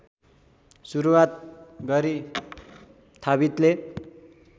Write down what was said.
सुरुवात गरि थाबितले